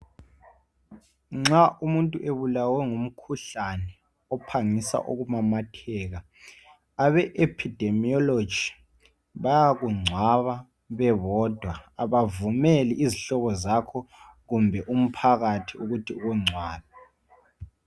Nxa umuntu ebulawe ngumkhuhlane ophangisa ukumamatheka abe "Epidemiology" bayakungcwaba bebodwa, abavumeli izihlobo zakho kumbe umphakathi ukuthi ungcwabe.